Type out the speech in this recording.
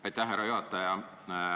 Aitäh, härra juhataja!